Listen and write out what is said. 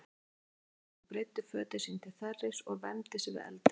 Hann afklæddist og breiddi fötin sín til þerris og vermdi sig við eldinn.